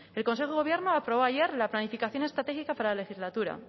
el consejo de gobierno aprobó ayer la planificación estratégica para la legislatura